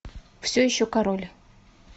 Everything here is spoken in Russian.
все еще король